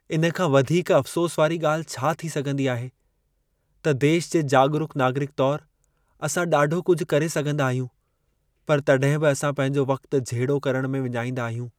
इन खां वधीक अफ़सोस वारी ॻाल्हि छा थी सघंदी आहे, त देश जे जाॻरूक नागरिक तौरु असां ॾाढो कुझु करे सघंदा आहियूं, पर तॾहिं बि असां पंहिंजो वक़्ति झेड़ो करणु में विञाईंदा आहियूं।